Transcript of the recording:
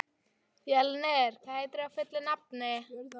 Fjölnir, hvað heitir þú fullu nafni?